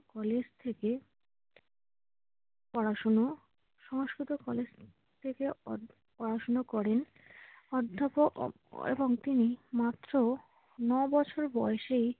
College থেকে পড়াশোনাও Sanskrit college থেকে অধ পড়াশোনা করেন। অধ্যাপক অ~ এবং তিনি মাত্র ন বছর বয়সে